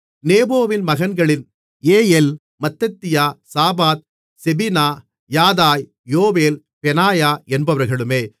நேபோவின் மகன்களில் ஏயெல் மத்தித்தியா சாபாத் செபினா யதாய் யோவேல் பெனாயா என்பவர்களுமே